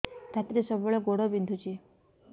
ରାତିରେ ସବୁବେଳେ ଗୋଡ ବିନ୍ଧୁଛି